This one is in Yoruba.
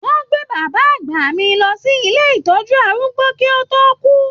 Wọn gbé bàbá àgbà mí lọ sí ilé ìtọjú arúgbó ki o to ku.